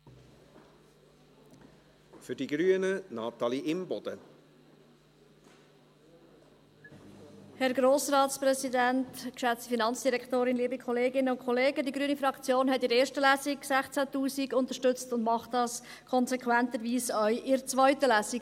Die grüne Fraktion hat in der ersten Lesung 16’000 Franken unterstützt und tut dies konsequenterweise auch in der zweiten Lesung.